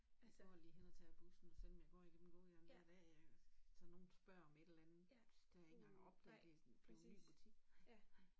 Jeg går lige hen og tager bussen selvom jeg går igennem gågaden hver dag ikke også så nogen spørger om et eller andet det har jeg ikke engang opdaget det er blevet en ny butik